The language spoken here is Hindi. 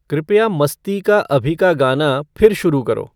कृपया मस्ती का अभी का गाना फिर शुरू करो